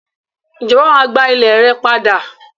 Ìjọba máa gba ile rẹ padà.